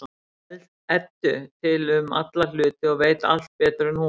Eddu til um alla hluti og veit allt betur en hún.